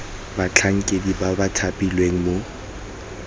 batlhankedi ba ba thapilweng mo